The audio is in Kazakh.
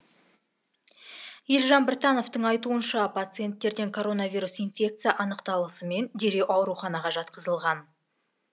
елжан біртановтың айтуынша пациенттерден коронавирус инфекция анықталысымен дереу ауруханаға жатқызылған